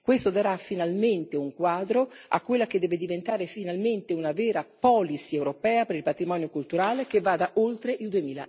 Questo darà finalmente un quadro a quella che deve diventare finalmente una vera policy europea per il patrimonio culturale che vada oltre il